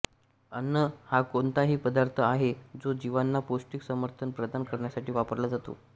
अन्न हा कोणताही पदार्थ आहे जो जीवांना पौष्टिक समर्थन प्रदान करण्यासाठी वापरला जातो